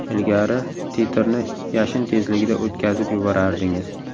Ilgari titrni yashin tezligida o‘tkazib yuborardingiz.